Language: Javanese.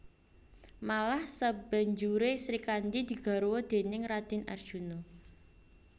Malah sabanjuré Srikandhi digarwa déning Radèn Arjuna